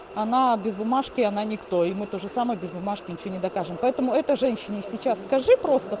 она без бумажки она никто и мы тоже самое без бумажки ничего не докажуем поэтому это женщине сейчас скажи просто